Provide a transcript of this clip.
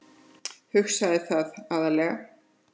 Hugsaði það,- aðallega.